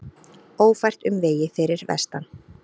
Ófært um vegi fyrir vestan